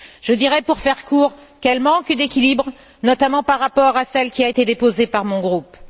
Je dirais, pour faire court, qu'elle manque d'équilibre, notamment par rapport à celle qui a été déposée par mon groupe.